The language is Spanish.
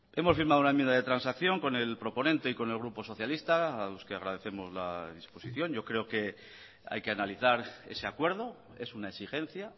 hemos firmado una enmienda de transacción con el proponente y con el grupo socialista a los que agradecemos la disposición yo creo que hay que analizar ese acuerdo es una exigencia